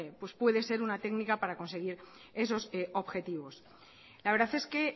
puede ser una técnica para conseguir esos objetivos la verdad es que